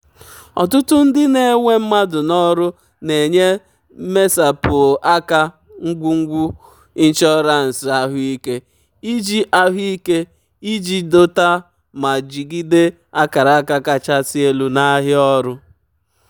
ọtụtụ um ndị na-ewe mmadụ n'ọrụ na-enye mmesapụ aka ngwugwu ịnshọransị ahụike iji ahụike iji dọta ma jigide akara aka kachasị elu n'ahịa ọrụ.